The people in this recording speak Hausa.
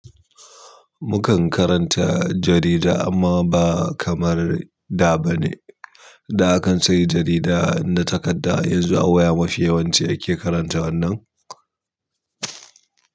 Mukan karanta jarida amma ba kamar da bane. Da akan sai jarida na takadda yanzu a waya mafi yawanci ake karanta wannan.